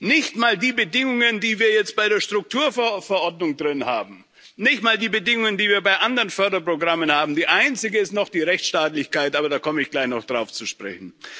Nicht mal die Bedingungen, die wir jetzt bei der Strukturfondsverordnung drin haben, nicht mal die Bedingungen, die wir bei anderen Förderprogrammen haben, die einzige ist noch die Rechtsstaatlichkeit, aber darauf komme ich gleich noch zu sprechen.